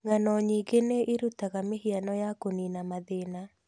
Ng'ano nyingĩ nĩ irutaga mĩhiano ya kũnina mathĩna.